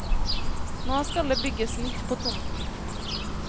Nå skal det bygges nytt på tomten.